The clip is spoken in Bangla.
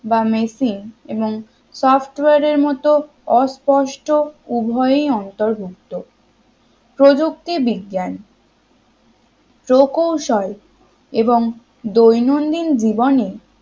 বা machine এবং software এর মত অস্পষ্ট উভয়ই অন্তর্ভুক্ত প্রযুক্তি বিজ্ঞান প্রকৌশল এবং দৈনন্দিন জীবনে